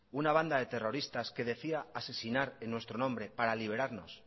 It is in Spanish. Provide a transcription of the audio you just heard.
una banda de terroristas que decía asesinar en nuestro nombre para liberarnos